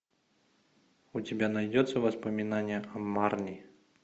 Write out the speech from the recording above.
у тебя найдется воспоминание о марни